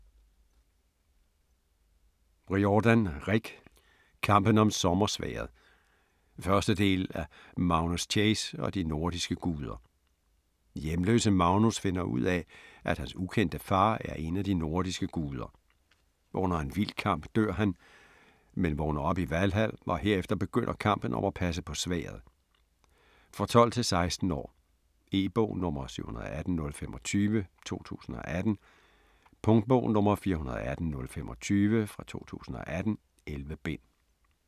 Riordan, Rick: Kampen om sommersværdet 1. del af Magnus Chase og de nordiske guder. Hjemløse Magnus finder ud af, at hans ukendte far er en af de nordiske guder. Under en vild kamp dør han, men vågner op i Valhal og herefter begynder kampen om at passe på sværdet. For 12-16 år. E-bog 718025 2018. Punktbog 418025 2018. 11 bind.